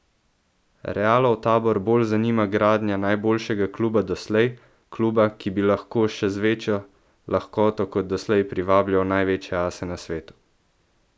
Realov tabor bolj zanima gradnja najboljšega kluba doslej, kluba, ki bi lahko še z večjo lahkoto kot doslej privabljal največje ase na svetu.